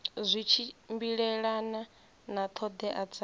zwi tshimbilelana na ṱhoḓea dza